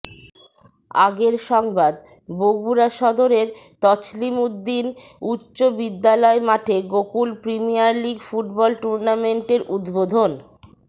আগের সংবাদ বগুড়া সদরের তছলিম উদ্দিন উচ্চ বিদ্যালয় মাঠে গোকুল প্রিমিয়ার লীগ ফুটবল টুর্ণামেন্টের উদ্বোধন